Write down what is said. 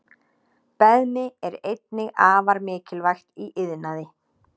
Beðmi er einnig afar mikilvægt í iðnaði.